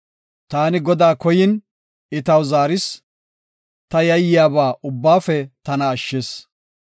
Taani Godaa koyin, I taw zaaris; ta yayyiyaba ubbaafe tana ashshis.